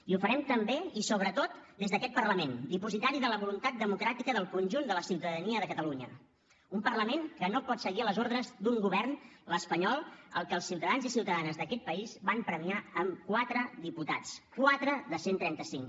i ho farem també i sobretot des d’aquest parlament dipositari de la voluntat democràtica del conjunt de la ciutadania de catalunya un parlament que no pot seguir a les ordres d’un govern l’espanyol al que els ciutadans i ciutadanes d’aquest país van premiar amb quatre diputats quatre de cent i trenta cinc